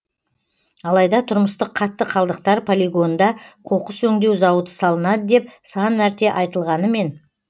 алайда тұрмыстық қатты қалдықтар полигонында қоқыс өңдеу зауыты салынады деп сан мәрте айтылғанымен